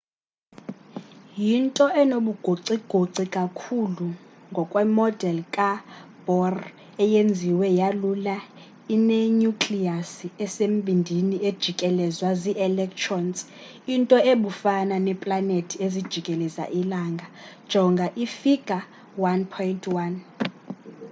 yinto enobugocigoci kakhulu ngokwemodel kabohr eyenziwe yalula inenyukliyasi esembindini ejikelezwa zi-electrons into ebufana neeplanethi ezijikeleza ilanga jonga ifigure 1.1